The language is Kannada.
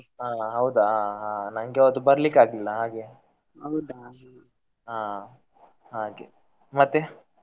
ಆ ಹೌದ ಹಾ ನನ್ಗೆ ಅವತ್ತು ಬರ್ಲಿಕ್ಕೆ ಆಗ್ಲಿಲ್ಲ ಹಾಗೆ ಹಾ ಹಾಗೆ ಮತ್ತೆ?